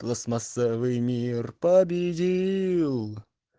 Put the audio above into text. пластмассовый мир победил